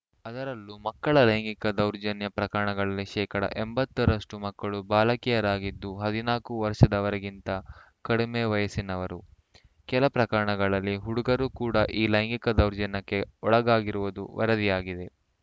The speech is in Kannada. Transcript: ಅದರಲ್ಲೂ ಮಕ್ಕಳ ಲೈಂಗಿಕ ದೌರ್ಜನ್ಯ ಪ್ರಕರಣಗಳಲ್ಲಿ ಶೇಕಡಾ ಎಂಬತ್ತರಷ್ಟುಮಕ್ಕಳು ಬಾಲಕಿಯರಾಗಿದ್ದು ಹದಿನಾಲ್ಕು ವರ್ಷದವರಿಗಿಂತ ಕಡಿಮೆ ವಯಸ್ಸಿನವರು ಕೆಲ ಪ್ರಕರಣಗಳಲ್ಲಿ ಹುಡುಗರೂ ಕೂಡ ಈ ಲೈಂಗಿಕ ದೌರ್ಜನ್ಯಕ್ಕೆ ಒಳಗಾಗಿರುವುದು ವರದಿಯಾಗಿದೆ